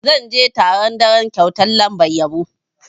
Zan je taron daren kyautar lambar yabo.